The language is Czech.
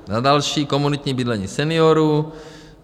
Za další, komunitní bydlení seniorů.